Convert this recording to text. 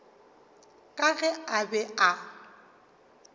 ka ge a be a